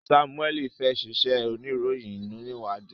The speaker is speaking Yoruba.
Samuel fè ṣe iṣé oníròyìn oniwadi.